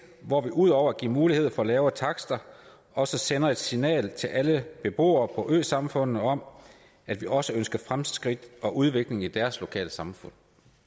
hvor vi ud over at give mulighed for lavere takster også sender et signal til alle beboere på øsamfundene om at vi også ønsker fremskridt og udvikling i deres lokalsamfund